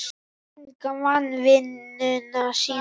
Enginn vann vinnuna sína.